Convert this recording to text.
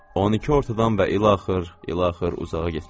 12 ortadan və ilaxır, ilaxır uzağa getmir.